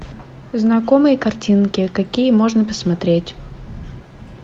знакомые картинки какие можно посмотреть